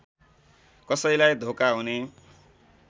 कसैलाई धोका हुने